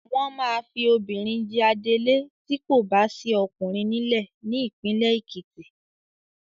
Wọ́n máa fi obìnrin jẹ adelé tí kò bá sí ọkùnrin nílẹ̀ ní ìpínlẹ̀ Ekiti.